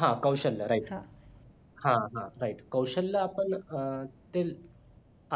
हा कौशल्य right हा हा right कौशल्य पण अं skill